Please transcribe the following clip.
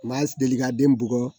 Ma deli ka den bugɔ